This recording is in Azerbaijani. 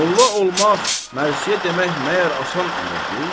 Molla olmaq, mərsiə demək məyər asan əmrdir?